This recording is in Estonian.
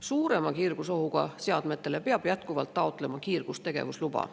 Suurema kiirgusohuga seadmete puhul peab jätkuvalt taotlema kiirgustegevusluba.